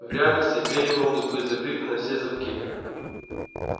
в реальности двери могут быть закрыты на все замки